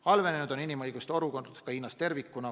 Halvenenud on inimõiguste olukord ka Hiinas tervikuna.